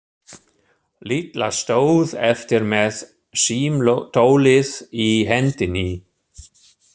Lilla stóð eftir með símtólið í hendinni.